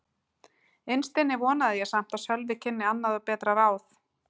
Innst inni vonaði ég samt að Sölvi kynni annað og betra ráð.